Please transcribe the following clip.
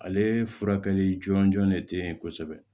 Ale furakɛli jɔnjɔn de tɛ yen kosɛbɛ